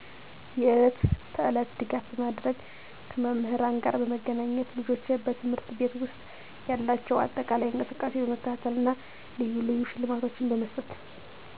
የዕለት ተዕለት ድጋፍ በማድረግ፣ ከመምህራን ጋር በመገናኘት ልጆች በት/ቤት ውስጥ ያላቸው አጠቃላይ እንቅስቃሴ በመከታተል እና ልዩ ልዩ ሽልማቶችን በመስጠት።